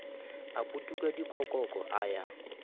a putuka dikokoko a ya